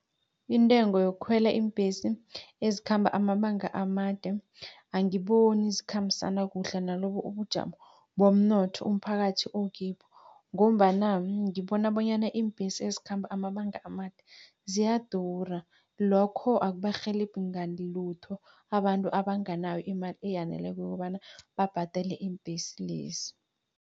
Intengo yokukhwela iimbhesi ezikhamba amabanga amade, angiboni zikhambisana kuhle nalobu ubujamo bomnotho umphakathi okibo. Ngombana ngibona bonyana iimbhesi ezikhamba amabanga amade, ziyadura lokho akubarhelebhi ngalutho abantu abanganayo imali eyaneleko yokobana babhadele iimbhesi lezi.